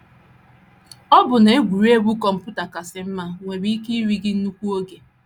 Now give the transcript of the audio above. Ọbụna egwuregwu kọmputa kasị mma nwere ike iri gị nnukwu oge.